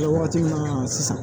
waati min na sisan